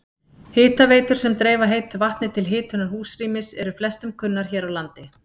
Hitaveitur sem dreifa heitu vatni til hitunar húsrýmis eru flestum kunnar hér á landi.